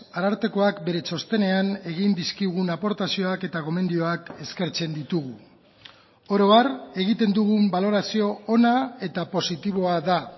arartekoak bere txostenean egin dizkigun aportazioak eta gomendioak eskertzen ditugu oro har egiten dugun balorazio ona eta positiboa da